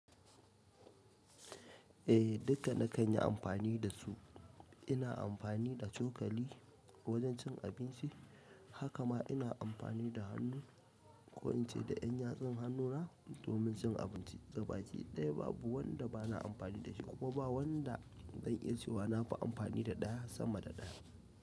Eh, duka na kan yi amfani da su. Ina amfani da cokali wajen cin abinci. Haka ma ina amfani da hannu ko in ce da ƴan yatsan hannuna domin cin abinci. Gaba ki ɗaya babu wanda bana amfani da shi kuma ba wanda zan iya cewa na fi amfani da ɗaya sama da ɗaya.